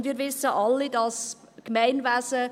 Und wir wissen alle, das Gemeinwesen …